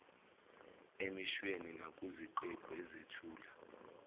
emishweni nakuziqephu ezethula